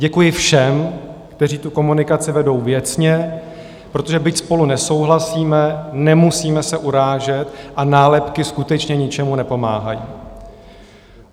Děkuji všem, kteří tu komunikaci vedou věcně, protože byť spolu nesouhlasíme, nemusíme se urážet a nálepky skutečně ničemu nepomáhají.